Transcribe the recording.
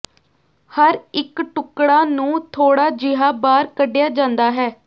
ਹਰ ਇੱਕ ਟੁਕੜਾ ਨੂੰ ਥੋੜਾ ਜਿਹਾ ਬਾਹਰ ਕੱਢਿਆ ਜਾਂਦਾ ਹੈ